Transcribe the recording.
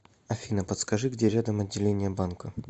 афина подскажи где рядом отделение банка